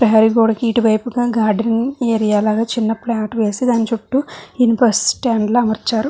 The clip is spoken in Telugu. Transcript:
పెహరి గొడవకి ఇటు వైపున గార్డెన్ ఏరియా లాగాచిన్న ప్లాట్ వేసి దాని చుట్టు ఇనుప స్టాండ్ లాగా అరుపట్టు చేసారు.